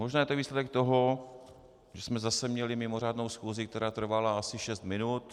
Možná je to výsledek toho, že jsme zase měli mimořádnou schůzi, která trvala asi šest minut.